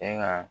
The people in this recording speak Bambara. E ka